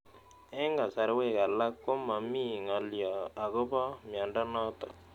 Eng'kasarwek alak ko mami ng'alyo akopo miondo notok